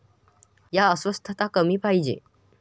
या अस्वस्थता कमी पाहिजे.